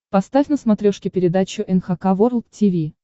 поставь на смотрешке передачу эн эйч кей волд ти ви